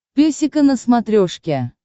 песика на смотрешке